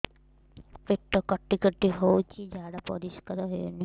ପେଟ କାଟି କାଟି ହଉଚି ଝାଡା ପରିସ୍କାର ହଉନି